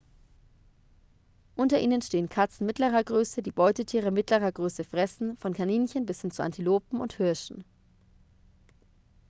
unter ihnen stehen katzen mittlerer größe die beutetiere mittlerer größe fressen von kaninchen bis hin zu antilopen und hirschen